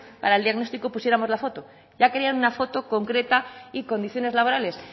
para el diagnóstico pusiéramos la foto ya querían una foto concreta y condiciones laborales